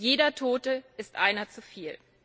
Jeder Tote ist einer zu viel.